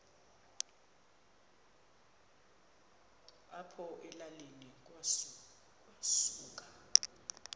apho elalini kwasuka